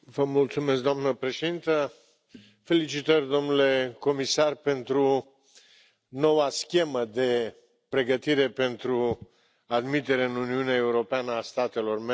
Doamna președintă, felicitări, domnule Comisar, pentru noua schemă de pregătire pentru admiterea în Uniunea Europeană a statelor membre.